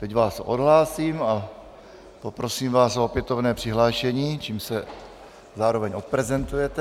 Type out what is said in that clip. Teď vás odhlásím a poprosím vás o opětovné přihlášení, čímž se zároveň odprezentujete.